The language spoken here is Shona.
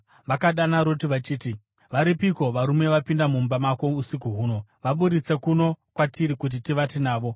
Vakadana Roti vachiti, “Varipiko varume vapinda mumba mako usiku huno? Vaburitse kuno kwatiri kuti tivate navo.”